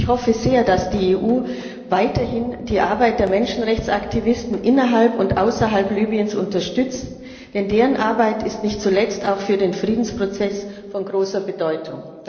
Ich hoffe sehr, dass die EU weiterhin die Arbeit der Menschenrechtsaktivisten innerhalb und außerhalb Libyens unterstützt, denn deren Arbeit ist nicht zuletzt auch für den Friedensprozess von großer Bedeutung.